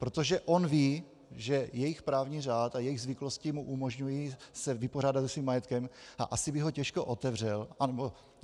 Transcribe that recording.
Protože on ví, že jejich právní řád a jejich zvyklosti mu umožňují se vypořádat se svým majetkem, a asi by ho těžko otevřel.